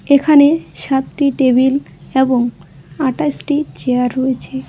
এখানে সাতটি টেবিল এবং আঠাশটি চেয়ার রয়েছে।